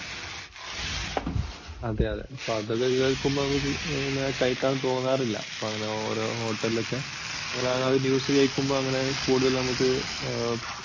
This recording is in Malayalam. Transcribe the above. അതെ അതെ ഇപ്പോൾ അതൊക്കെ കേൾക്കുമ്പോൾ കഴിക്കാൻ തോന്നാറില്ല. ഇപ്പോൾ അങ്ങനെ ഓരോ hotel ഒക്കെ ഇങ്ങനെ news കേൾക്കുമ്പോൾ അങ്ങനെ കൂടുതൽ നമുക്ക്